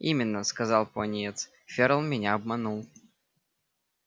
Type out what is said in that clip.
именно сказал пониетс ферл меня обманул